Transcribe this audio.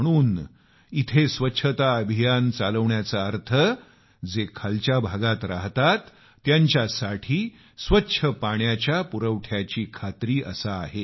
म्हणून इथं स्वच्छता अभियान चालवण्याचा अर्थ जे खालच्या भागांत राहतात त्यांच्यासाठी स्वच्छ पाण्याची सुनिश्चिती करणे असा आहे